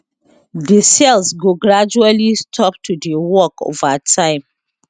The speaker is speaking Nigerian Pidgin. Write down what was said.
di cells go gradually stop to dey work ova time